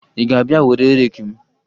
Ị ga-abịa were reeki m?